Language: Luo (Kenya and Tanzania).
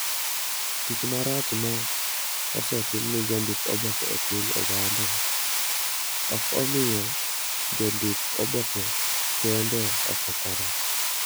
Tim marach ma osetim ne jondik oboke e piny Ogande, ok osemiyo jondik oboke kende okethore.